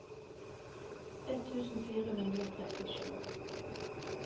ett tusen fire hundre og trettisju